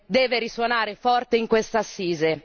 deve risuonare forte in questa assise.